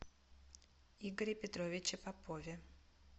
игоре петровиче попове